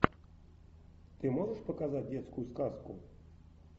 ты можешь показать детскую сказку